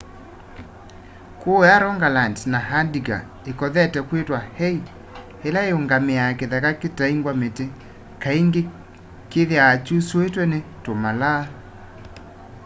kuuya rogaland na agder ikothete kwitwa hei ila iungamiaa kitheka kitaingwa miti kaingi kithiawa kyusuitwe ni tumalaa